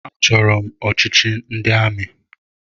Achọrọ m ọchịchị ndị amị.